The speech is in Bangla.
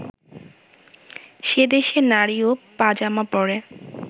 সে দেশে নারীও পা-জামা পরে